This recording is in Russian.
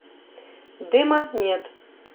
дыма нет